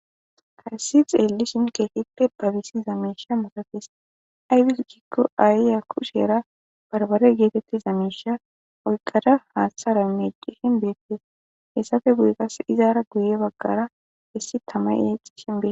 Hayssi xelishin kehippe babisiza mishahi masatees . Aybis gikko ayiya kushera barbbarey gigetiza mishan oykada haaththara mec'ishin beetes. Hessappe guye qasekka izappe guye bagara issi tamay exishe beetes.